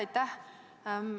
Aitäh!